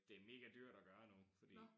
Det mega dyrt at gøre nu fordi